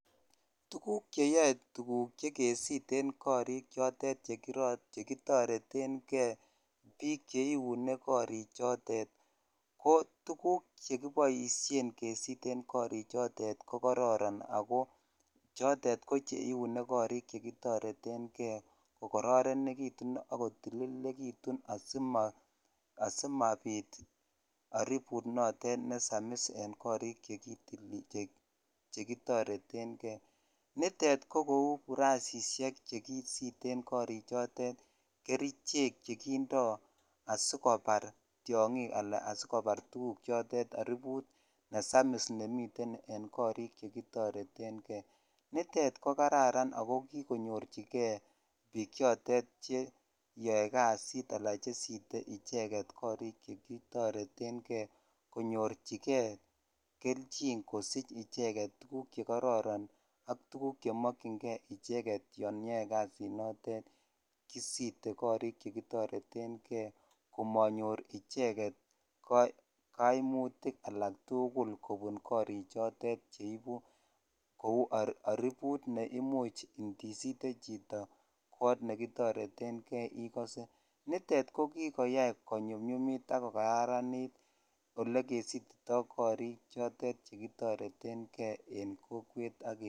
Tukuk cheyoe tukuk chekesiten korik chotet chekitoreteng'e, biik cheiune korichotet ko tukuk chekiboishen kesiten korichotet ko kororon ak ko chotet ko cheiune korik che kitoreteng'e ko kororonekitun ak kotililekitun asimabiit oribut noton nesamis en korik chekitoreteng'e, nitet ko kouu burasishek chekisiten korichotet, kerichek chekindo asikobar tiong'ik alaa asikobar tukuk chotet aribut nesamis nemiten en korik chekitoreteng'e, nitet ko kararan ak ko kikonyorchike biik chotet cheyoe kasit alaan chesite icheket chekitoretng'e konyorchike kelchin kosich icheket ukuk chekororon ak tukuk chemokying'e icheket yoon iyoe kasinotet kisite korik chekitoreteng'e komonyor icheket kaimutik alak tukul kobun korik chotet cheibu kouu oribut neimuch indisite chito koot nekitoreteng'e ikose, nitet ko kikoyai konyumnyumit ak kokararanit olekesititoi korik chotet chekitoreteng'e en kowek.